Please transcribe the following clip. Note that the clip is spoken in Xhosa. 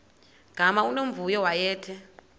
gama unomvuyo wayethe